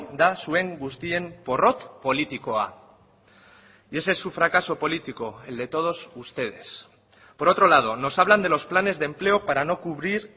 da zuen guztien porrot politikoa y ese es su fracaso político el de todos ustedes por otro lado nos hablan de los planes de empleo para no cubrir